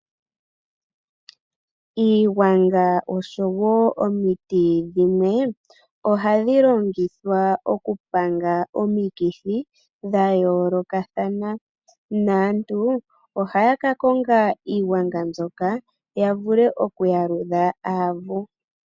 Iiwanga osho woo omiti dhimwe ohadhi longithwa oku panga omikithi dha yoolokathana, naantu ohaya ka konga iiwanga mbyoka, ya vule oku yaludha aavu.